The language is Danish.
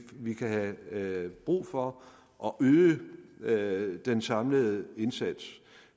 vi kan have brug for at øge den samlede indsats